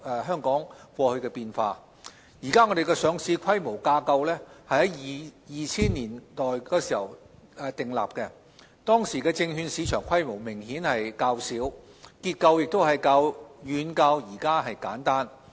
香港現行的上市規管架構於2000年代訂立，當時的證券市場規模明顯較小，結構亦遠較目前簡單。